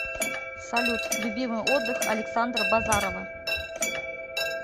салют любимый отдых александа базарова